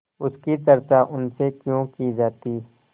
उसकी चर्चा उनसे क्यों की जाती